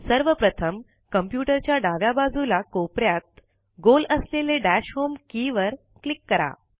सर्वप्रथम कम्प्युटर च्या डाव्या बाजूला कोपऱ्यात गोल असलेले दश होम के वर क्लिक करा